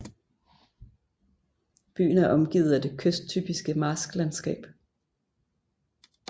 Byen er omgivet af det kysttypiske marsklandsskab